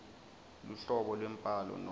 luhlobo lwembhalo nobe